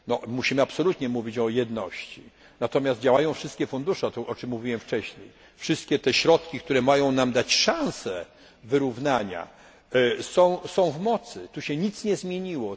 Musimy absolutnie mówić o jedności, natomiast działają wszystkie fundusze, to o czym mówiłem wcześniej, wszystkie środki, które mają nam dać szansę wyrównania, są w mocy, tu się nic nie zmieniło.